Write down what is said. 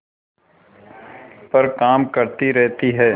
पर काम करती रहती है